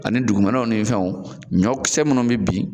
Ani dugumɛnɛw ni fɛnw ɲɔnkisɛ munnu bɛ bin